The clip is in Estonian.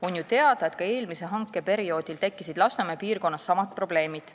Oli ju teada, et ka eelmisel hankeperioodil tekkisid Lasnamäe piirkonnas samad probleemid.